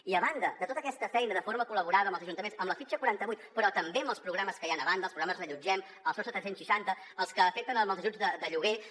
i a banda de tota aquesta feina de forma col·laborativa amb els ajuntaments amb la fitxa quaranta vuit però també amb els programes que hi han a banda els programes reallotgem el sostre tres cents i seixanta els que afecten els ajuts de lloguer